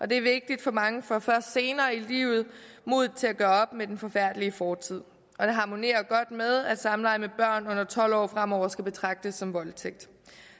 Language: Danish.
det er vigtigt mange får først senere i livet mod til at gøre op med den forfærdelige fortid og det harmonerer godt med at samleje med børn under tolv år fremover skal betragtes som voldtægt